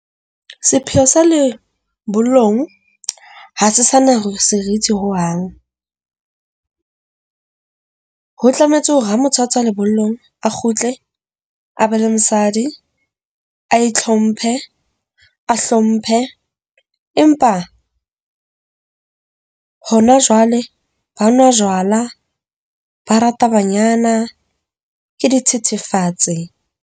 Sepheo sa lebollong ha se sana serithi hohang, ho tlametse hore ha motho a tswa lebollong a kgutle a be le mosadi. A itlhomphe, a hlomphe, empa hona jwale ba nwa jwala. Ba rata banyana ke dithethefatsi.